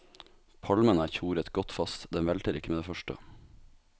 Palmen er tjoret godt fast, den velter ikke med det første.